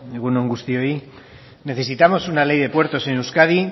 egun on guztioi necesitamos una ley de puertos en euskadi